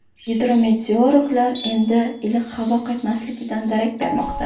Gidrometeorologlar endi iliq havo qaytmasligidan darak bermoqda.